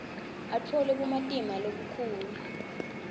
atfole bumatima lobukhulu